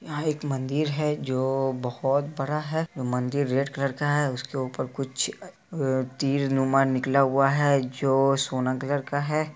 यहाँ एक मंदिर है जो बहोत बड़ा है। मंदिर रेड कलर का है उसके ऊपर कुछ तीरनुमा निकला हुआ है जो सोना कलर का है।